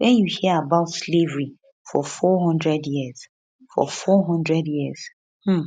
wen you hear about slavery for 400 years for 400 years um